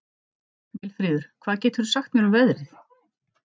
Vilfríður, hvað geturðu sagt mér um veðrið?